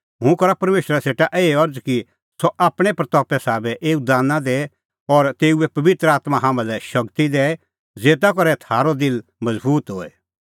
हुंह करा परमेशरा सेटा एही अरज़ कि सह आपणीं महिमें साबै एऊ दाना दैए और तेऊए पबित्र आत्मां तम्हां लै शगती दैए ज़ेता करै थारअ दिल मज़बूत होए